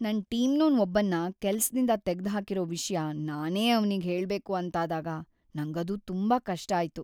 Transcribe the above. ನನ್‌ ಟೀಮ್ನೋನ್‌ ಒಬ್ಬನ್ನ ಕೆಲ್ಸದಿಂದ ತೆಗ್ದ್‌ಹಾಕಿರೋ ವಿಷ್ಯ ನಾನೇ ಅವ್ನಿಗ್ ಹೇಳ್ಬೇಕು ಅಂತಾದಾಗ ನಂಗದು ತುಂಬಾ ಕಷ್ಟ ಆಯ್ತು.